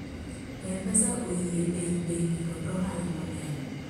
m-pesa oyie ei bengi kod ohala mang'eny